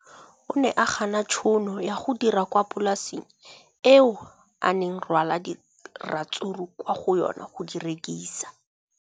O ne a gana tšhono ya go dira kwa polaseng eo a neng rwala diratsuru kwa go yona go di rekisa.